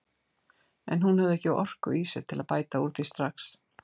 En hún hafði ekki orku í sér til að bæta úr því strax.